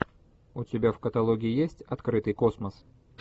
у тебя в каталоге есть открытый космос